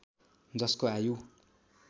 जसको आयु